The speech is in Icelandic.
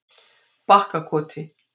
Bakkakoti